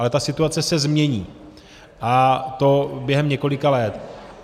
Ale ta situace se změní, a to během několika let.